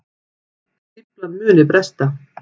Stíflan muni bresta